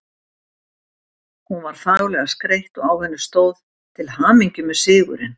Hún var fagurlega skreytt og á henni stóð: Til hamingju með sigurinn